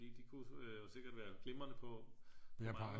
Det kunne sikkert være glimrende på